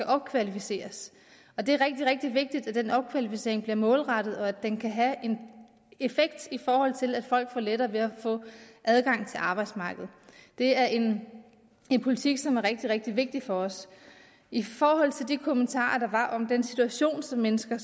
opkvalificeret og det er rigtig rigtig vigtigt at den opkvalificering bliver målrettet og at den kan have en effekt i forhold til at folk får lettere ved at få adgang til arbejdsmarkedet det er en politik som er rigtig rigtig vigtig for os i forhold til de kommentarer der var om den situation som mennesker